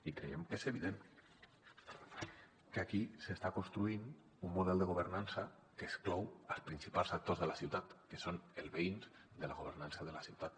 i creiem que és evident que aquí s’està construint un model de governança que exclou els principals actors de la ciutat que són els veïns de la governança de la ciutat